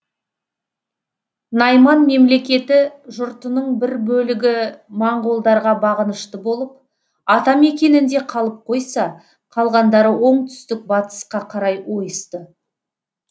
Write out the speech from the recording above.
найман мемлекеті жұртының бір бөлігі моңғолдарға бағынышты болып ата мекенінде қалып қойса қалғандары оңтүстік батысқа қарай ойысты